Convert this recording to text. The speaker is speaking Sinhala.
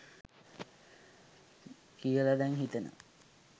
කියලා දැන් හිතෙනවා.